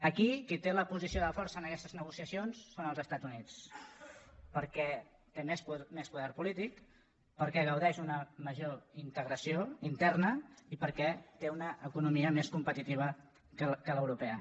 aquí qui té la posició de força en aquestes negociacions són els estats units perquè té més poder polític perquè gaudeix d’una major integració interna i perquè té una economia més competitiva que l’europea